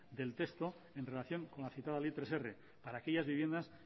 del texto en relación con la citada ley hirur para aquellas viviendas